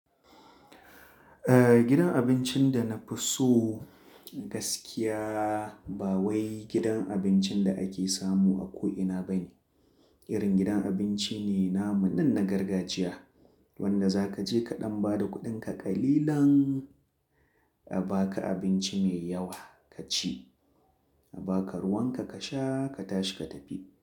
Eh gidan abincin da na fi so gaskiya ba wai gidan abincin da ake samu a ko'ina bane. Irin gidan abinci ne namunna na gargajiya wanda za ka je kaɗan bada kuɗinka ƙalilan a baka abinci mai yawa ka ci, a baka ruwan ka sha ka tashi katashi ka tafi.